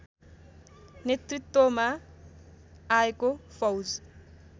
नेतृत्वमा आएको फौज